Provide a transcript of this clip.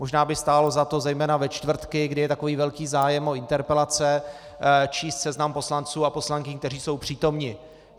Možná by stálo za to, zejména ve čtvrtky, kdy je takový velký zájem o interpelace, číst seznam poslanců a poslankyň, kteří jsou přítomni.